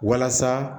Walasa